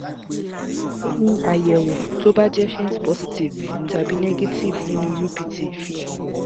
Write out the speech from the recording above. kí ni àyẹ̀wò tó bá jẹ́ faint positive tàbi negative nínú upt fi hàn?